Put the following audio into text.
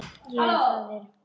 Ég er faðir.